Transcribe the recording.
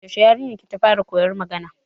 Yaushe yarinyar ki ta fara koyan magana?